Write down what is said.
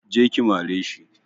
Je ki mare shi!